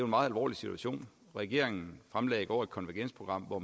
meget alvorlig situation regeringen fremlagde i går et konvergensprogram hvor